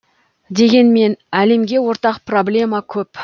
дегенмен әлемге ортақ проблема көп